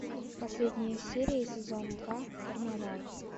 последняя серия сезон два карнавал